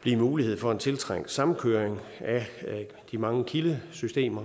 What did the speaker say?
blive mulighed for en tiltrængt sammenkøring af de mange kildesystemer